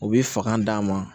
U bi fanga d'a ma